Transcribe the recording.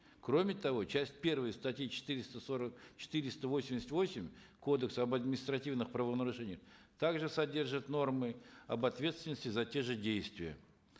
кроме того часть первая статьи четыреста сорок четыреста восемьдесят восемь кодекса об административных правонарушениях также содержит нормы об ответственности за те же действия